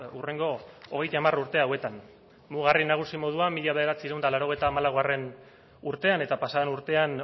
hurrengo hogeita hamar urte hauetan mugarri nagusi moduan mila bederatziehun eta laurogeita hamalaugarrena urtean eta pasa den urtean